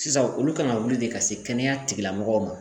Sisan olu kan ka wuli de ka se kɛnɛya tigilamɔgɔw ma